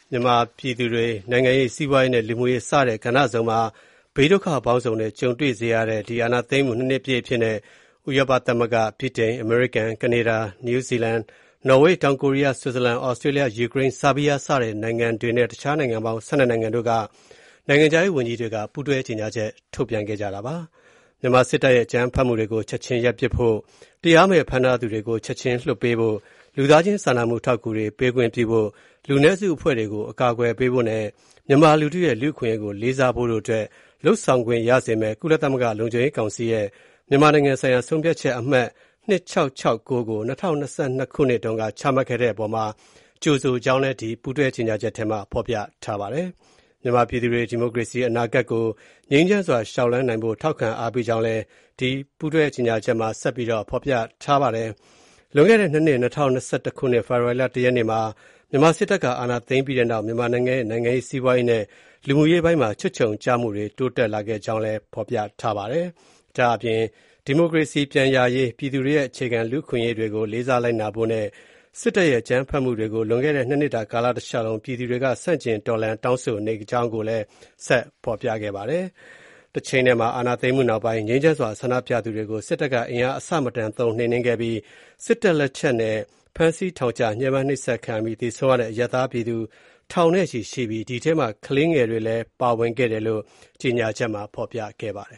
မြန်မာပြည်သူတွေ နိုင်ငံရေး၊ စီးပွားရေးနဲ့ လူမှုရေး စတဲ့ ကဏ္ဍစုံမှာ ဘေးဒုက္ခပေါင်းစုံနဲ့ ကြုံတွေ့ရစေတဲ့ စစ်အာဏာသိမ်းမှု ၂ နှစ် အဖြစ်နဲ့ ဥရောပသမဂ္ဂ၊ ဗြိတိန်၊ အမေရိကန်၊ ကနေဒါ၊ နယူးဇီလန်၊ နော်ဝေး၊ တောင်ကိုရီးယား၊ ဆွစ်ဇာလန်၊ သြစတြေးလျ၊ ယူကရိန်း၊ ဆားဘီးယားစတဲ့ နိုင်ငံတွေနဲ့ တခြား နိုင်ငံပေါင်း ၁၂ နိုင်ငံတို့က နိုင်ငံခြားရေးဝန်ကြီးတွေက ပူးတွဲကြေညာချက်တစောင်ထုတ်ပြန်ခဲ့ပါတယ်။ မြန်မာစစ်တပ်ရဲ့ အကြမ်းဖက်မှုတွေ ချက်ချင်းရပ်ပစ်ဖို့၊ တရားမဲ့ဖမ်းထားသူတွေကို ချက်ချင်းလွှတ်ပေးဖို့၊ လူသားချင်းစာနာမှု အထောက်ကူတွေ ပေးခွင့်ပြုဖို့၊ လူနည်းစုအဖွဲ့တွေကို အကာကွယ်ပေးဖို့နဲ့ မြန်မာလူထုရဲ့ လူ့အခွင့်ရေးကို လေးစားဖို့တို့အတွက် လုပ်ဆောင်ခွင့်ရစေမယ့် ကုလသမဂ္ဂလုံခြုံရေးကောင်စီရဲ့ မြန်မာနိုင်ငံဆိုင်ရာ ဆုံးဖြတ်ချက် အမှတ် ၂၆၆၉ ကို ၂၀၂၂ တုန်းက ချမှတ်ခဲ့တဲ့အပေါ်မှာ ကြိုဆိုကြောင်း ဒီပူးတွဲကြေညာချက်မှာ ဖော်ပြထားပါတယ်။ မြန်မာပြည်သူတွေ ဒီမိုကရေစီအနာဂတ်ကို ငြိမ်းချမ်းစွာ လျှောက်လှမ်းနိုင်ဖို့ ထောက်ခံအားပေးကြောင်းလည်း ဒီပူးတွဲကြေညာချက်မှာ ဖော်ပြထားပါတယ်။ လွန်ခဲ့တဲ့ ၂ နှစ်၂၀၂၁ ဖေဖော်ဝါရီလ ၁ ရက်နေ့မှာ မြန်မာစစ်တပ်က အာဏာသိမ်းခဲ့ပြီးနောက် မြန်မာနိုင်ငံရဲ့ နိုင်ငံရေး၊ စီးပွားရေးနဲ့ လူမှုရေးပိုင်းမှာ ချွတ်ခြုံကျမှုတွေ တိုးလာခဲ့ကြောင်း၊ ဒီမိုကရေစီ ပြန်ရရှိရေး၊ ပြည်သူတွေရဲ့ အခြေခံလူ့အခွင့်အရေးတွေကို လေးစားလိုက်နာဖို့နဲ့ စစ်တပ်ရဲ့ အကြမ်းဖက်မှုတွေကို လွန်ခဲ့တဲ့ ၂ နှစ်တာ ကာလတလျှောက်လုံး ပြည်သူတွေက ဆန့်ကျင်တော်လှန်၊ တောင်းဆိုနေခဲ့ကြကြောင်း၊ အာဏာသိမ်းမှုနောက်ပိုင်း ငြိမ်းချမ်းစွာ ဆန္ဒပြသူတွေကို စစ်တပ်က အင်အားအဆမတန်သုံး နှိမ်နင်းခဲ့ကြောင်း၊ စစ်တပ်လက်ချက်နဲ့ ဖမ်းဆီးထောင်ချ ညှင်းပန်းနှိပ်စက်ခံရပြီး သေဆုံးရတဲ့ အရပ်သားပြည်သူထောင်နဲ့ချီရှိပြီး ဒီထဲမှာ ကလေးငယ်တွေလည်း ပါဝင်ကြောင်း ကြေညာချက်မှာ ဖော်ပြထားပါတယ